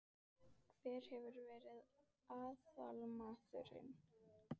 Hver hefur verið aðalmaðurinn?